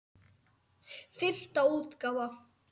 Fimmta útgáfa.